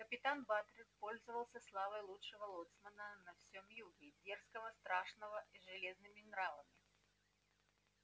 капитан батлер пользовался славой лучшего лоцмана на всём юге дерзкого страшного с железными нравами